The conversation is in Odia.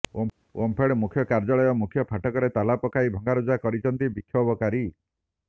ଓମଫେଡ ମୁଖ୍ୟ କାର୍ଯ୍ୟାଳୟ ମୁଖ୍ୟ ଫାଟକରେ ତାଲା ପକାଇ ଭଙ୍ଗାରୁଜା କରିଛନ୍ତି ବିକ୍ଷୋଭକାରୀ